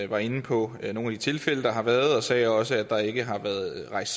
var inde på nogle af de tilfælde der har været og sagde også at der ikke har været rejst